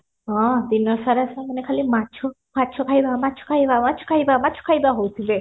ହଁ ଦିନ ସାରା ସେମାନେ ଖାଲି ମାଛ ମାଛ ଖାଇବା ମାଛ ଖାଇବା ମାଛ ଖାଇବା ମାଛ ଖାଇବା ହାଉଥିବେ